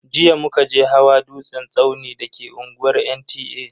Jiya muka je hawa dutsen tsauni da ke unguwar NTA.